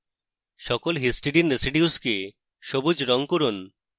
সকল histidine residues কে সবুজ রঙ করুন